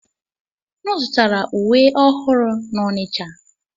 M zụtara uwe ọhụrụ n'Onitsha.